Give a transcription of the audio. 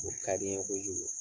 O ka di n ye kojugu